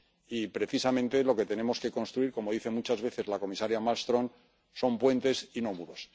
Y precisamente lo que tenemos que construir, como dice muchas veces la comisaria Malmström, son puentes y no muros.